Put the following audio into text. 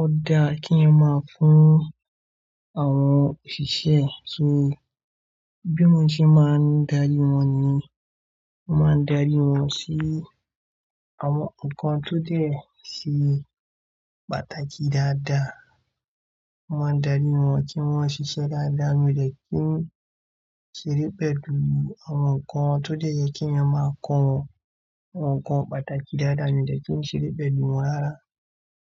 ó da kí a máa fún àwọn òṣìṣẹ́. So bí mo ṣe máa ń darí wọn ni mo máa ń darí wọ́n sí àwọn nǹkan tó dẹ kí ó ṣe pàtàkì dáadáa. Mo máa ń darí wọ́n kí wọ́n ṣiṣẹ́ dáadáa. Mi ò dẹ́ kí n ṣeré pẹ̀lú àwọn nǹkan tó dẹ́yé kí eyàn máa kọ wọ́n àwọn nǹkan pàtàkì dáadáa. Mi ò jẹ́ kí n ṣeré pẹ̀lú wọn rárá.